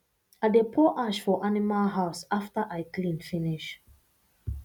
i dey pour ash for animal house after i clean finish